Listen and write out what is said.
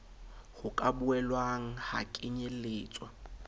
ho ka boelang ha kenyeletswa